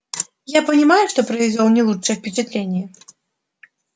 я понимаю что произвёл не лучшее впечатление